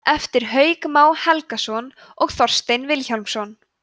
eftir hauk má helgason og þorstein vilhjálmsson